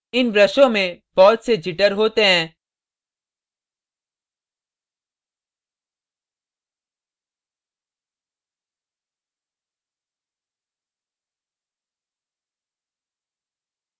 इन ब्रशों में बहुत से jitter होते हैं